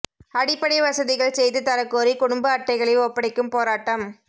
அடிப்படை வசதிகள் செய்து தரக் கோரி குடும்ப அட்டைகளை ஒப்படைக்கும் போராட்டம்